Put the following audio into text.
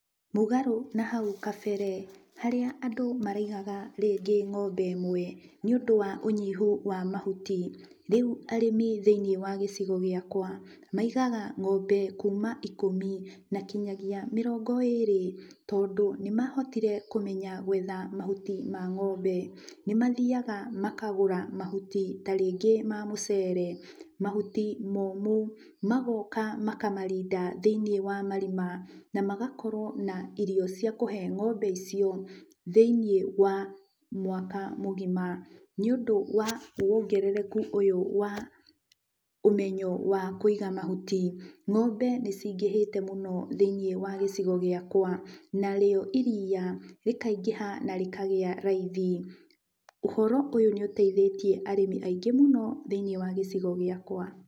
Mũgarũ na hau kabere harĩa andũ maraigaga rĩngĩ ng'ombe ĩmwe, nĩũndũ wa ũnyihu wa mahuti, rĩu arĩmi thĩiniĩ wa gĩcigo gĩakwa maigaga ng'ombe kuma ikũmi na kinyagia mĩrongo ĩrĩ, tondũ nĩmahotire kũmenya gwetha mahuti ma ng'ombe. Nĩmathiaga makagũra mahuti ta rĩngĩ ma mũcere, mahuti momũ, magoka makamarinda thĩiniĩ wa marima, na magakorwo na irio cia kũhe ng'ombe icio thĩiniĩ wa mwaka mũgima. Nĩũndũ wa wongereku ũyũ wa ũmenyo wa kũiga mahuti, ng'ombe nĩcingĩhĩte mũno thĩiniĩ wa gĩcigo gĩakwa, narĩo iria rĩkaingĩha na rĩkagĩa raithi. Ũhoro ũyũ nĩũteithĩtie arĩmi aingĩ mũno thĩiniĩ wa gĩcigo gĩakwa.